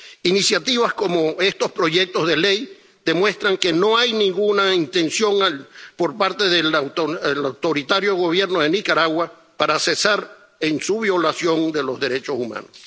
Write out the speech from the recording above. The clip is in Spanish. Iniciativas como estos proyectos de ley demuestran que no hay ninguna intención por parte del autoritario Gobierno de Nicaragua de cesar en su violación de los derechos humanos.